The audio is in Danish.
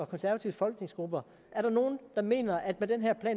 konservatives folketingsgrupper er der nogle der mener at